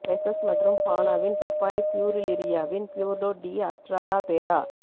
pieces மற்றும் ஃபானாவின் பப்பாளிப் பியூரிலீரியாவின் பியூர்டோ டி அட்ராடா பேரா